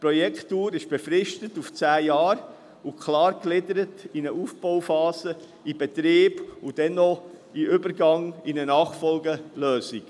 Die Projektdauer ist auf zehn Jahre befristet und klar gegliedert in eine Aufbauphase, den Betrieb und dann auch den Übergang in eine Nachfolgelösung.